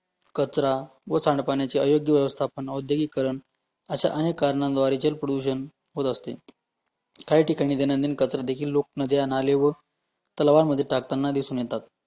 कचरा व सांडपाण्याचे अयोग्य व्यवस्थापन औद्योगिकरण अशा अनेक कारण द्वारे प्रडूशन होत असते, काही ठिकाणी दैनंदिन कचरादेखील लोक नद्या, नाले व तलावामध्ये टाकताना दिसून येतात